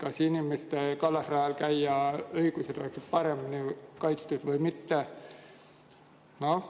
Kas inimeste õigus kallasrajal käia oleks paremini kaitstud või mitte?